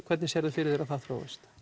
hvernig sérðu fyrir þér að það þróist